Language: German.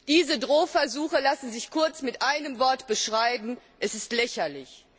Diese Drohversuche lassen sich kurz mit einem Wort beschreiben Es ist lächerlich!